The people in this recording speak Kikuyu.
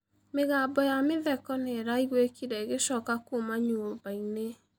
Mĩgambo ya mĩtheko nĩĩraĩgũĩkĩre ĩgĩchoka kũũma nyũmbaĩnĩ.